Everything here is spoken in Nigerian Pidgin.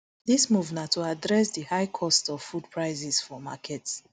dis move na to address di high cost of food prices for market